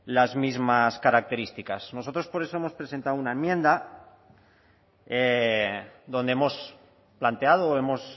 las mismas características nosotros por eso hemos presentado una enmienda donde hemos planteado o hemos